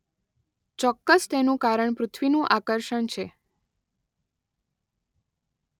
ચોક્કસ તેનું કારણ પૃથ્વીનું આકર્ષણ છે.